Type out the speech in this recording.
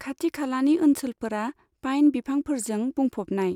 खाथिखालानि ओनसोलफोरा पाइन बिफांफोरजों बुंफबनाय।